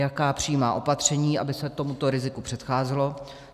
Jaká přijímá opatření, aby se tomuto riziko předcházelo?